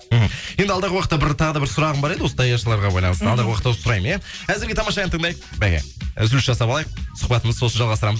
мхм енді алдағы уақытта бір тағы да бір сұрағым бар еді осы даяшыларға байланысты алдағы уақытта осы сұраймын иә әзірге тамаша ән тыңдайық мәке үзіліс жасап алайық сұхбатымызды сосын жалғастырамыз